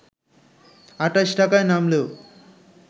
২৮ টাকায় নামলেও